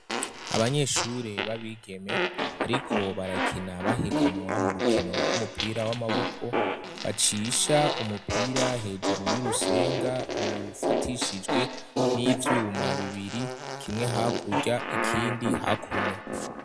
Abanyeshure babigeme bariko barakina baheganwa mu rukino rw'umupira w'amaboko, bacisha umupira hejuru y'urusenga rufatishijwe n'ivyuma bibiri, kimwe hakurya ikindi hakuno.